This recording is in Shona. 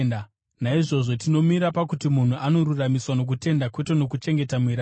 Naizvozvo tinomira pakuti munhu anoruramisirwa nokutenda kwete nokuchengeta murayiro.